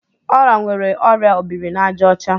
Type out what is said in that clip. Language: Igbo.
Ọla nwere ọrịa obirinaàjàọcha.